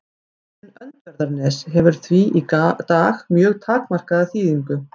Jörðin Öndverðarnes hefur því í dag mjög takmarkaða þýðingu.